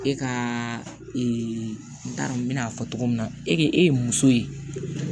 E ka ee n t'a dɔn n bena fɔ cogo min na e k'e ye muso ye